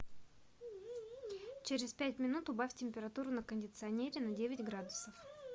через пять минут убавь температуру на кондиционере на девять градусов